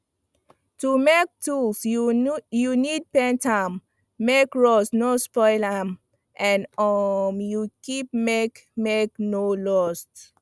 to make tools you need paint am make rust no spoil am and um you keep make make e no lost